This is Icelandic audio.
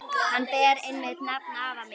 Hann ber einmitt nafn afa míns.